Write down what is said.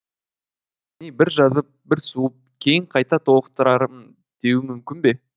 бір жазып бір суып кейін қайта толықтырармын деуі мүмкін бе